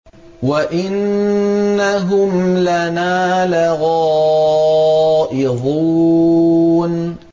وَإِنَّهُمْ لَنَا لَغَائِظُونَ